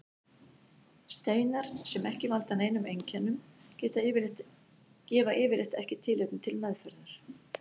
Steinar sem ekki valda neinum einkennum gefa yfirleitt ekki tilefni til meðferðar.